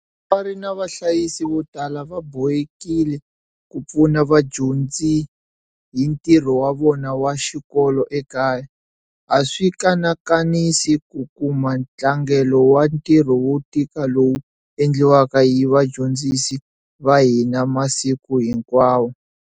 Vatswari na vahlayisi vo tala va bohekile ku pfuna vadyondzi hi ntirho wa vona wa xikolo ekaya, a swi kanakanisi ku kuma ntlangelo wa ntirho wo tika lowu endliwaka hi vadyondzisi va hina masiku hinkwawo.